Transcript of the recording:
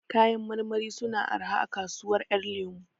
Kayan marmari suna araha a kasuwar ƴan lemo